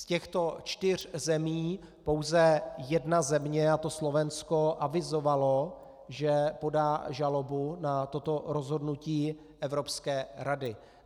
Z těchto čtyř zemí pouze jedna země, a to Slovensko, avizovala, že podá žalobu na toto rozhodnutí Evropské rady.